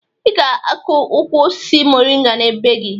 Ị ga-akụ ukwu osisi moringa na be gị